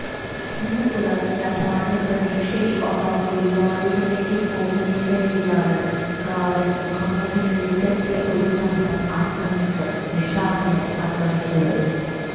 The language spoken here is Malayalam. ഇന്ന് പുലർച്ചെ ഭാര്യ പ്രതീക്ഷയ്ക്ക് ഒപ്പം ഗുരുവായൂരിലേക്ക് പോകുന്നതിനിടയിലാണ് കാറിൽ മുഖംമൂടി ധരിച്ചെത്തിയ ഒരു സംഘം അക്രമികൾ നിഷാദിന അക്രമിച്ചത്